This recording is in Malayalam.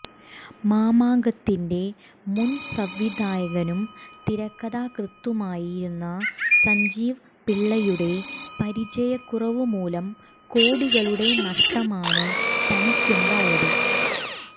മാമാങ്കത്തിന്റെ മുന്സംവിധായകനും തിരക്കഥാകൃത്തുമായിരുന്ന സജീവ് പിള്ളയുടെ പരിചയക്കുറവ് മൂലം കോടികളുടെ നഷ്ടമാണ് തനിക്കുണ്ടായത്